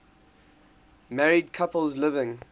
married couples living